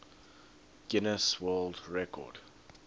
guinness world record